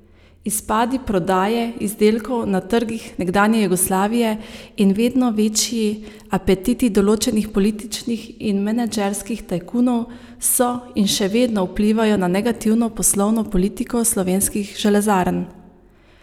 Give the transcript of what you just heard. Izpadi prodaje izdelkov na trgih nekdanje Jugoslavije in vedno večji apetiti določenih političnih in menedžerskih tajkunov so in še vedno vplivajo na negativno poslovno politiko slovenskih železarn!